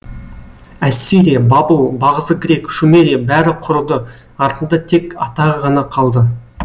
ассирия бабыл бағзы грек шумерия бәрі құрыды артында тек атағы ғана қалды